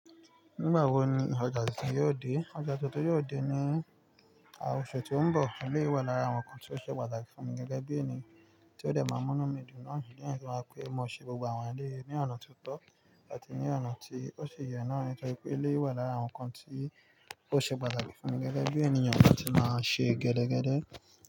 Nígbà wo ni ọjà tuntun yóò dé? Ọjà tuntun yóò dé ní oṣù tó ń bọ̀. Eléyiẹ wa lára àwọn nǹkan tí ó ṣe pàtàkì fún mi gẹ́gẹ́ bí ènìyàn tí ó dẹ̀ máa mú námídù náà nílé, àní tí màá pè é mọ ṣe gbogbo àwọn ilé ní ọ̀nà tó tọ́ àti ní ọ̀nà tí ó ṣe yọ náà nítorí pé ilé wà lára àwọn nǹkan tí ó ṣe pàtàkì fún mi gẹ́gẹ́ bí ènìyàn tó ti máa ń ṣe e gẹdẹgẹdẹ.